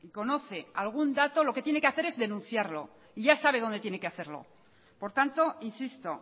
conoce algún dato lo que tiene que hacer es denunciarlo y ya sabe dónde tiene que hacerlo por tanto insisto